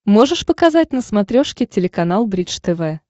можешь показать на смотрешке телеканал бридж тв